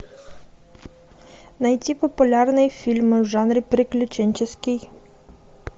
найти популярные фильмы в жанре приключенческий